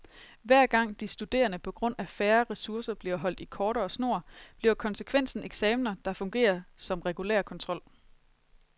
Hver gang de studerende på grund af færre ressourcer bliver holdt i kortere snor, bliver konsekvensen eksaminer, der fungerer som regulær kontrol.